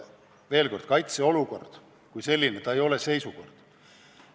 Veel kord: kaitseolukord kui selline ei ole seisukord.